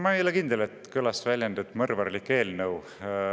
Ma ei ole kindel, et kõlas väljend "mõrvarlik eelnõu".